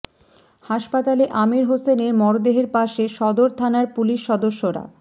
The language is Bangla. হাসপাতালে আমির হোসেনে মরদেহের পাশে সদর থানার পুলিশ সদস্যরা